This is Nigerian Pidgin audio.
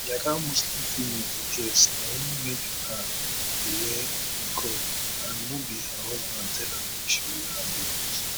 like how muslim females dey dress na im make her dey wear niqab and no be her husband tell am make she wear am becos